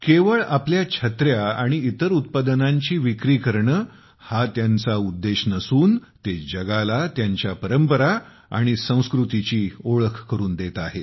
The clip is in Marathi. केवळ आपल्या छत्र्या आणि इतर उत्पादनांची विक्री करणे हा त्यांचा उद्देश नसून ते जगाला त्यांच्या परंपरा आणि संस्कृतीची ओळख करून देत आहेत